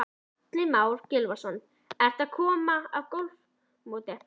Atli Már Gylfason: Ertu að koma af golfmóti?